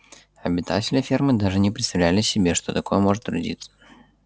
обитатели фермы даже не представляли себе что такое можно трудиться